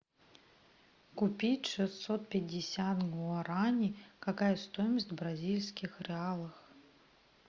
купить шестьсот пятьдесят гуарани какая стоимость в бразильских реалах